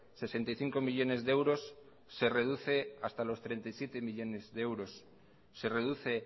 sesenta y cinco millónes de euros se reduce hasta los treinta y siete millónes de euros se reduce